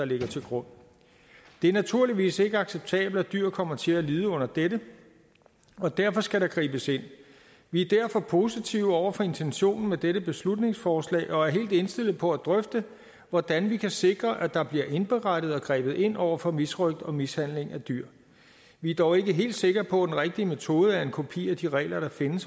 ligger til grund det er naturligvis ikke acceptabelt at dyr kommer til at lide under dette og derfor skal der gribes ind vi er derfor positive over for intentionen med dette beslutningsforslag og er helt indstillet på at drøfte hvordan vi kan sikre at der bliver indberettet og grebet ind over for misrøgt og mishandling af dyr vi er dog ikke helt sikre på at den rigtige metode er en kopi af de regler der findes